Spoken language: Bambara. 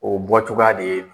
O bɔcogoya de ye